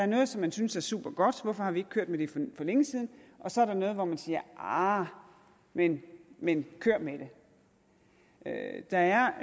noget som man synes er supergodt hvorfor har vi ikke kørt med det for længe siden og så er der noget hvor man siger arh men men kør med det der er